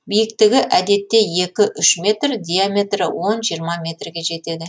биіктігі әдетте екі үш метр диаметрі он жиырма метрге жетеді